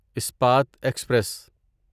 Ispat express